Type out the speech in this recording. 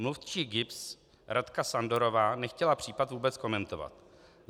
Mluvčí GIBS Radka Sandorová nechtěla případ vůbec komentovat.